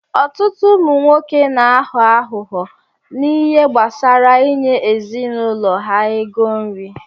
Ọtụtụ ụmụ nwoke n'aghọ aghughọ na ihe gbasara inye ezinụlọ ha ego nri